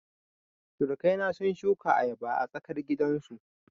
Surukai na sun shuka ayaba a tsarkar gidan su